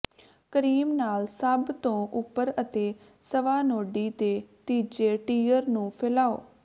cream ਨਾਲ ਸਭ ਤੋਂ ਉਪਰ ਅਤੇ ਸਵਾਨੋਡੀ ਦੇ ਤੀਜੇ ਟੀਅਰ ਨੂੰ ਫੈਲਾਓ